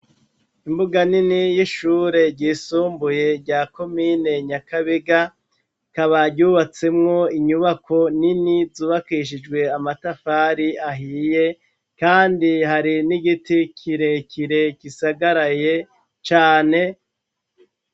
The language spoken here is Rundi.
Imbuga nini y'ishure ryisumbuye rya kumine nyakabega kabaryubatsemwo inyubako nini zubakishijwe amatafari ahiye, kandi hari n'igiti kirekire gisagaraye cane.